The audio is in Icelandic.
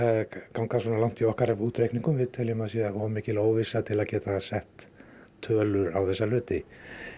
ganga svona langt í okkar útreikningum við teljum að það sé of mikil óvissa til að geta sett tölur á þessa hluti